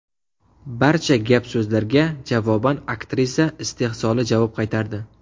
Barcha gap-so‘zlarga javoban aktrisa istehzoli javob qaytardi.